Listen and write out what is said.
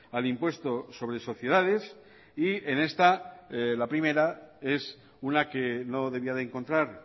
al impuesto sobre sociedades y en esta la primera es una que no debía de encontrar